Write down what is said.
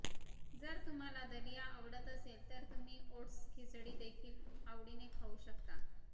जर तुम्हाला दलिया आवडत असेल तर तुम्ही ओट्स खिचडी देखील आवडीने खाऊ शकता